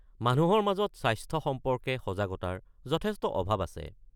মানুহৰ মাজত স্বাস্থ্য সম্পৰ্কে সজাগতাৰ যথেষ্ট অভাৱ আছে।